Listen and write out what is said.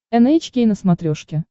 эн эйч кей на смотрешке